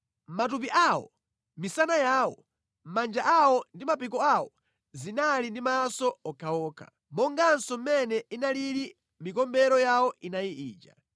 Matupi awo onse, misana yawo, manja awo ndi mapiko awo zinali ndi maso okhaokha, monganso mʼmene inalili mikombero yawo inayi ija.